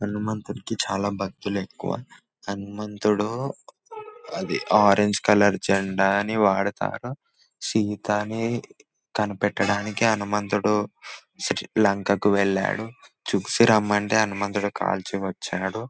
హనుమంతునికి చాలా భక్తులు ఎక్కువ హనుమంతుడు అది ఆరెంజ్ కలర్ జెండాని వాడతాడు. సీతని కనిపెట్టడానికి హనుమంతుడు లంకకు వెళ్ళాడు. చూసి రమ్మంటే హనుమంతుడు కాల్చి వచ్చాడు.